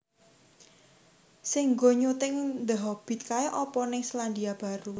Sing nggo syuting The Hobbit kae opo ning Selandia Baru